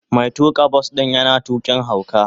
Mai tuka bas din yana tukin hauka.